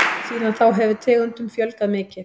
Síðan þá hefur tegundum fjölgað mikið.